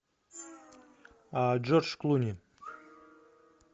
джордж клуни